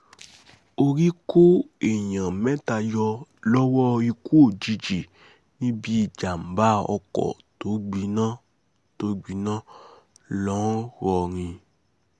orí kó èèyàn mẹ́ta yọ lọ́wọ́ ikú òjijì níbi jábá ọkọ̀ tó gbiná tó gbiná ńlọrọrìn